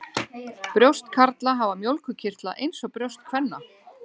Brjóst karla hafa mjólkurkirtla eins og brjóst kvenna.